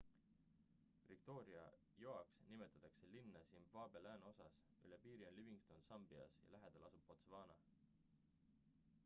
victoria joaks nimetatakse linna zimbabwe lääneosas üle piiri on livingstone sambias ja lähedal asub botswana